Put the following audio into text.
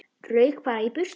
Rauk bara í burtu.